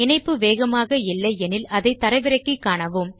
இணைப்பு வேகமாக இல்லை எனில் அதை தரவிறக்கி காணலாம்